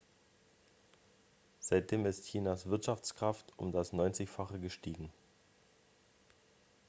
seitdem ist chinas wirtschaftskraft um das neunzigfache gestiegen